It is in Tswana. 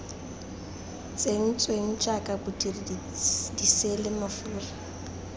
tsentsweng jaaka bodiri diseele mafura